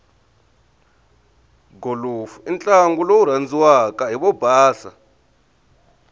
golofu intlangu lowurandziwaka hhivobhasa